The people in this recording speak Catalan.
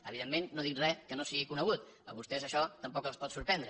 evidentment no dic res que no sigui conegut a vostès això tampoc els pot sorprendre